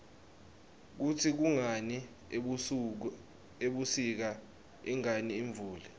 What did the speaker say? kutsi kungani ebusika ingani imvula